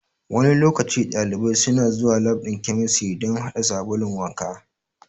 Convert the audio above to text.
Wani lokaci ɗalibai suna zuwa lab ɗin chemistry dan haɗa sabulun wanka